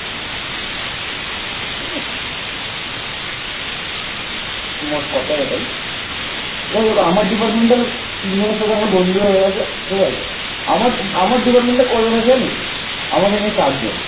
মোট কথা এটাই যাই হোক আমার department র তিনজনের সাথে আমার বন্ধু হয়ে গেছে ঠিক আছে আমার department কজন আছে জানিস আমাকে নিয়ে চারজন